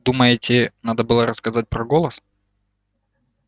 думаете надо было рассказать про голос